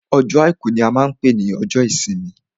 Ọjọ́ àìkú ní a máa n pé ní ọjọ́ ìsinmi.